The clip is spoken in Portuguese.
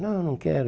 Não, não quero.